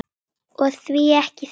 Og því ekki það?